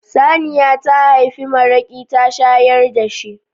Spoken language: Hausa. Saniya ta haifi maraƙi ta shayar da shi.